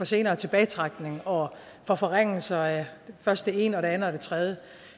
senere tilbagetrækningsalder og for forringelser af først det ene så det andet og det tredje